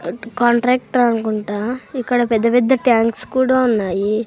Contractor అనుకుంటా ఇక్కడ పెద్ద పెద్ద ట్యాంక్స్ కూడా ఉన్నాయి.